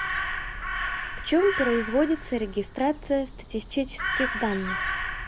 в чем производится регистрация статистических данных